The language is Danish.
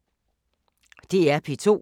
DR P2